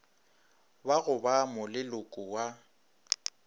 ba go ba moleloko wa